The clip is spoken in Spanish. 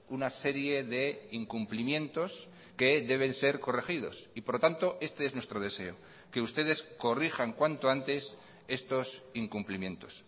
una serie de incumplimientos que deben ser corregidos y por lo tanto este es nuestro deseo que ustedes corrijan cuanto antes estos incumplimientos